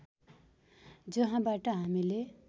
जहाँबाट हामीले